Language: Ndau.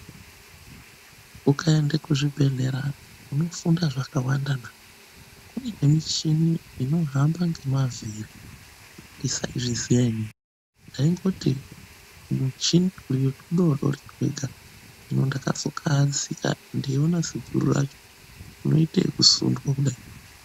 Ukaenda kuzvibhehlera unofunda zvakawandana. Kune michini inohamba ngemavhiri. Ndisaizviziya inini ndaingoti muchini uyo mudodori wega. Ndakazokahadzika ndeiona ziguru racho reiitwa ekusundwa kudai.